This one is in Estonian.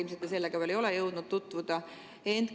Ilmselt te ei ole jõudnud veel sellega tutvuda.